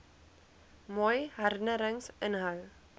mooi herinnerings inhou